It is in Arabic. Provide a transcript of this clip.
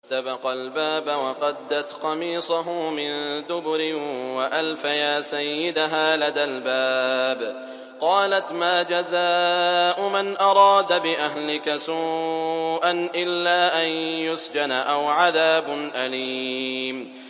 وَاسْتَبَقَا الْبَابَ وَقَدَّتْ قَمِيصَهُ مِن دُبُرٍ وَأَلْفَيَا سَيِّدَهَا لَدَى الْبَابِ ۚ قَالَتْ مَا جَزَاءُ مَنْ أَرَادَ بِأَهْلِكَ سُوءًا إِلَّا أَن يُسْجَنَ أَوْ عَذَابٌ أَلِيمٌ